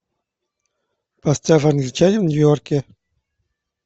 поставь англичанин в нью йорке